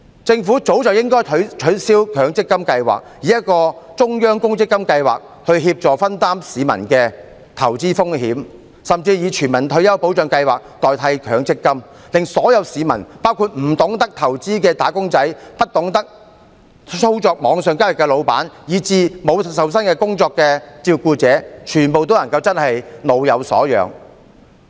政府早該取消強積金計劃，以中央公積金計劃協助分擔市民的投資風險，甚至以全民退休保障計劃代替強積金計劃，令所有市民，包括不懂得投資的"打工仔"、不懂得操作網上交易的僱主，以至沒有受薪工作的照顧者，全部也能夠真正老有所養。